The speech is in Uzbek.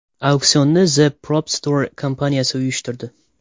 Auksionni The Prop Store kompaniyasi uyushtirdi.